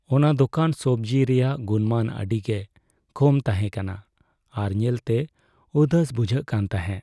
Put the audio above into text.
ᱚᱱᱟ ᱫᱚᱠᱟᱱ ᱥᱚᱵᱽᱡᱤ ᱨᱮᱭᱟᱜ ᱜᱩᱱᱢᱟᱱ ᱟᱹᱰᱤᱜᱮ ᱠᱚᱢ ᱛᱟᱦᱮᱸᱠᱟᱱᱟ ᱟᱨ ᱧᱮᱞᱛᱮ ᱩᱫᱟᱹᱥ ᱵᱩᱡᱷᱟᱹᱜ ᱠᱟᱱ ᱛᱟᱦᱮᱸᱜ ᱾